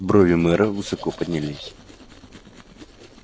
брови мэра высоко поднялись